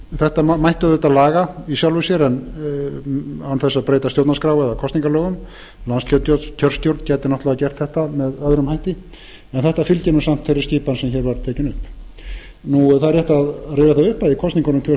þetta mætti auðvitað laga í sjálfu sér án þess að breyta stjórnarskrá eða kosningalögum landskjörstjórn gæti náttúrlega gert þetta með öðrum hætti en þetta fylgir samt þeirri skipan sem hérna var tekin upp rétt er að rifja það upp að í kosningunum tvö þúsund